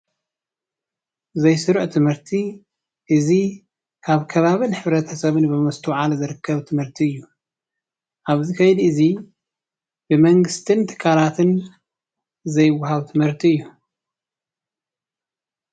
ዘይስሩዕ ትምህርቲ እዚ አብ ከባቢን ሕብረተሰብን ብምስትውዓል ዝርከብ ትምህርቲ እዩ። ኣብዚ ከይዲ እዚ ብመንግስቲን ትካላትን ዘይወሃብ ትምህርቲ እዩ።